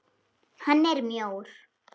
Hann er mjór.